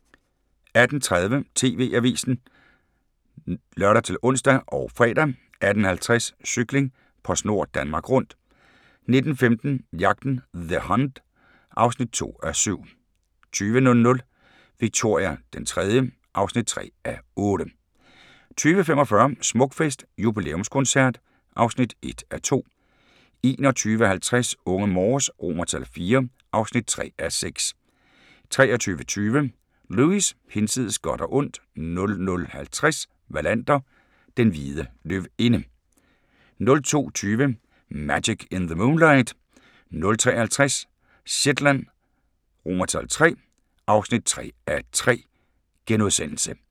18:30: TV-avisen (lør-ons og fre) 18:50: Cykling: PostNord Danmark Rundt 19:15: Jagten – The Hunt (2:7) 20:00: Victoria III (3:8) 20:45: Smukfest – jubilæumskoncert (1:2) 21:50: Unge Morse IV (3:6) 23:20: Lewis: Hinsides godt og ondt 00:50: Wallander: Den hvide løvinde 02:20: Magic in the Moonlight 03:50: Shetland III (3:3)*